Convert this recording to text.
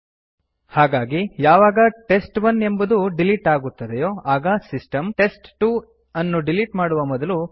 ಹಾಗಾಗಿ ಯಾವಾಗ ಟೆಸ್ಟ್ 1 ಎಂಬುದು ಡಿಲಿಟ್ ಆಗುತ್ತದೆಯೋ ಆಗ ಸಿಸ್ಟಮ್ ಟೆಸ್ಟ್ 2 ನ್ನು ಡಿಲಿಟ್ ಮಾಡುವ ಮೊದಲು ಕೇಳುತ್ತದೆ